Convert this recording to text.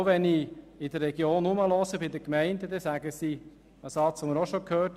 Auch wenn ich mich in der Region umhöre, bei den Gemeinden, wird ein bereits gehörter Satz ausgesprochen: